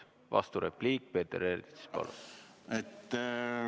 Vasturepliik, Peeter Ernits, palun!